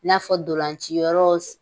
N'a fɔ ntolaciyɔrɔw